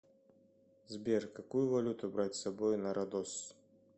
сбер какую валюту брать с собой на родос